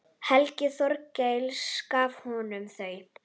Helgi Þorkels gaf honum þau.